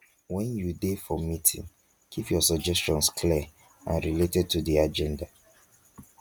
when you dey for meeting keep your suggestions clear and related to di agenda